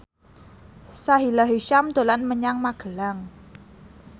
Sahila Hisyam dolan menyang Magelang